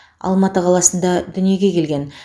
алматы қаласында дүниеге келген